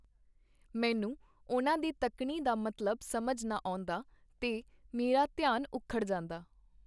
ਮੈਨੂੰ ਉਹਨਾਂ ਦੀ ਤੱਕਣੀ ਦਾ ਮਤਲਬ ਸਮਝ ਨਾ ਆਉਂਦਾ, ਤੇ ਮੇਰਾ ਧਿਆਨ ਉਖੜ ਜਾਂਦਾ.